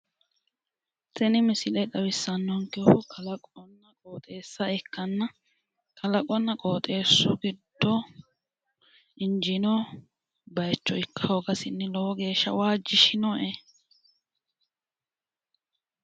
Tini misile xawisanonkehu kalaqonna qoxxeessa ikkanna kalaqonna qoxxeesu giddo injinoha ikka hoogasinni lowo geeshsha waajishinoe